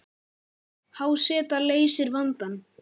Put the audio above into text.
Há seta leysir vandann